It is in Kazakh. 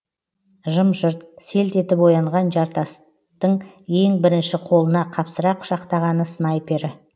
жым жырт селт етіп оянған жарастың ең бірінші қолына қапсыра құшақтағаны снайпері